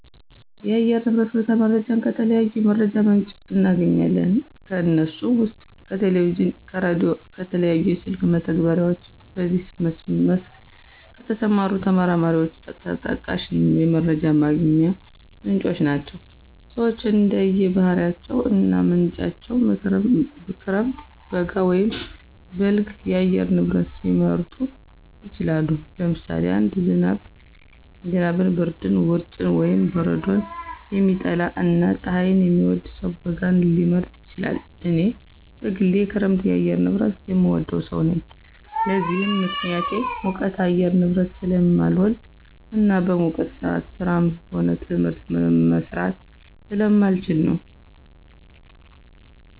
የአየር ንብረት ሁኔታ መረጃን ከተለያዩ የመረጃ ምንጮች እናገኛለን። ከነሱም ውስጥ ከቴሌቪዥን፣ ከራዲዮ፣ ከተለያዩ የስልክ መተግበሪያዎች በዚህ መስክ ከተሰማሩ ተመራማሪዎች ተጠቃሽ የመረጃ ማግኛ ምንጮች ናቸው። ሰወች እንደየ ባህሪያቸው እና ምርጫቸው ክረምት፣ በጋ ወይም በልግ የአየር ንብረት ሊመርጡ ይችላሉ። ለምሳሌ አንድ ዝናብን፣ ብርድን፣ ውርጭን ወይም በረዶን የሚጠላ እና ፀሀይን የሚወድ ሰው በጋን ሊመርጥ ይችላል። እኔ በግሌ የክረምት የአየር ንብረትን የምወድ ሰው ነኝ። ለዚህም ምክንያቴ ሙቀት የአየር ንብረትን ስለማልወድ እና በሙቀት ሰአት ስራም ሆነ ትምህርት መስራት ስለማልችል ነው።